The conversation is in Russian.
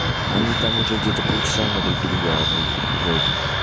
они там уже где-то полчаса на друг друга орут жесть